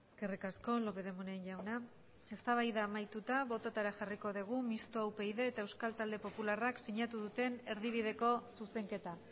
eskerrik asko lópez de munain jauna eztabaida amaituta bototara jarriko dugu mistoa upyd eta euskal talde popularrak sinatu duten erdibideko zuzenketa